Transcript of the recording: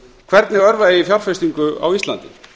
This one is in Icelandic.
hvernig örva eigi fjárfestingu á íslandi